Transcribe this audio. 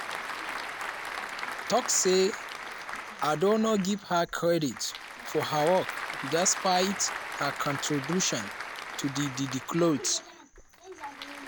tok say addo no give her credit for her work despite her contribution to di di cloth.